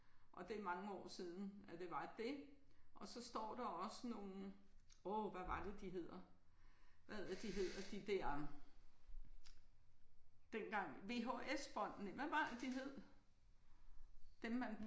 Og det er mange år siden at det var det. Og så står der også nogle åh hvad var det de hedder hvad er det de hedder de der dengang VHS bånd næh hvad var det de hed? Dem man